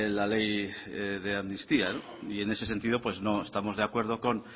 la ley de amnistía y en ese sentido no estamos de acuerdo con